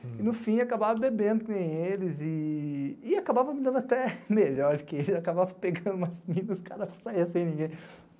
E, no fim, acabava bebendo, como eles, e acabava me dando até melhor, porque ele acabava pegando umas minas e os caras saíam sem ninguém.